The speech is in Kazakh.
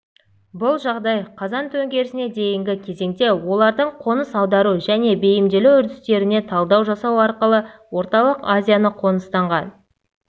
бұл жағдай қазан төңкерісіне дейінгі кезеңде олардың қоныс аудару және бейімделу үрдістеріне талдау жасау арқылы орталық азияны қоныстанған